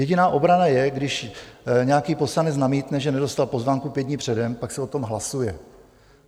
Jediná obrana je, když nějaký poslanec namítne, že nedostal pozvánku pět dní předem, pak se o tom hlasuje.